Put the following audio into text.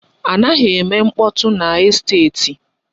A naghi eme mkpọtụ n'esteti.